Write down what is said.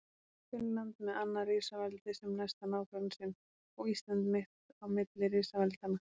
Finnland með annað risaveldið sem næsta nágranna sinn og Ísland mitt á milli risaveldanna.